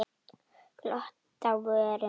Glott á vörum hennar.